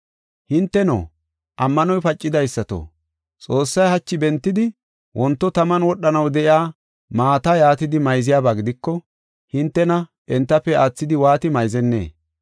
Hinteno, ammanoy pacidaysato, Xoossay hachi bentidi wonto taman wodhanaw de7iya maata yaatidi mayziyaba gidiko, hintena entafe aathidi waati mayzennee?